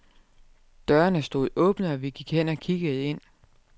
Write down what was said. Dørene stod åbne og vi gik hen og kiggede ind.